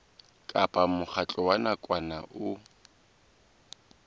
kapa mokgatlo wa nakwana o